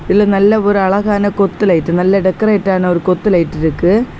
இதுல நல்ல ஒரு அழகான கொத்து லைட்டு நல்ல டெக்கரேட்டான ஒரு கொத்து லைட் இருக்கு.